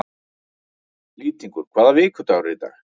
Lýtingur, hvaða vikudagur er í dag?